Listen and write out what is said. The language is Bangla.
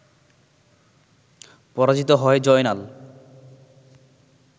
পরাজিত হয় জয়নাল